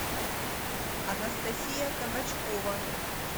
анастасия табачкова